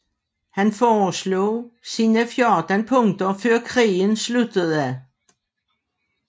Han foreslog sine 14 punkter før krigen sluttede